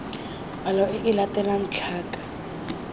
palo e e latelang tlhaka